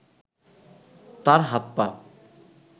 তার হাত-পা